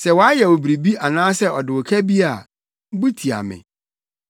Sɛ wayɛ wo biribi anaasɛ ɔde wo ka bi a, bu tia me.